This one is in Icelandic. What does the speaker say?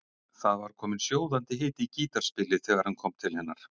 Það var kominn sjóðandi hiti í gítarspilið þegar hann kom til hennar.